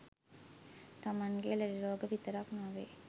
තමන්ගේ ලෙඩ රෝග විතරක් නොවේ